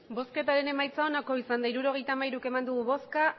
emandako botoak hirurogeita hamairu bai